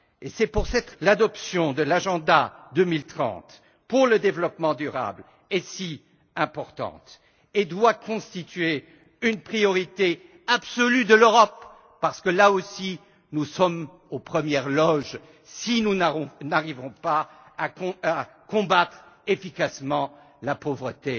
C'est pour cette raison que l'adoption de l'agenda 2030 pour le développement durable est si importante et doit constituer une priorité absolue de l'Europe, parce que, là aussi, nous sommes aux premières loges si nous n'arrivons pas à combattre efficacement la pauvreté